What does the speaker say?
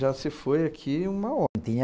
Já se foi aqui uma